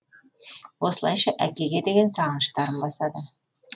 осылайша әкеге деген сағыныштарын басады